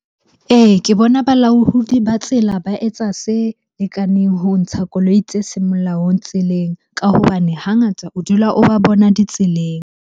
Ee, ke bona balaodi ba tsela ba etsa se lekaneng ho ntsha koloi tse seng molaong tseleng. Ka hobane hangata o dula o ba bona ditseleng.